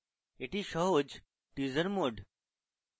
এটি সহজ teaser mode